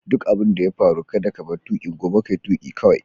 Duk abin da ya faru kada ka bar tukin gobe, ka yi tuki kawai!